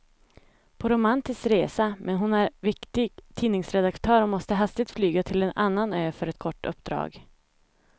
På romantisk resa, men hon är viktig tidningsredaktör och måste hastigt flyga till en annan ö för ett kort uppdrag.